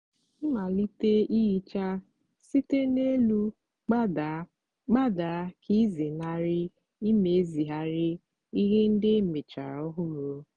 malite ihicha site n'elu gbadaa gbadaa ka ịzenarị imezigharị ihe ndị emechara ọhụrụ.